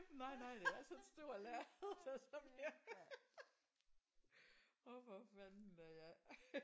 Nej nej det er sådan et stort lærred der så bliver åh for fanden da ja